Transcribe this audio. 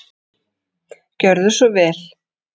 Gjörðu svo vel.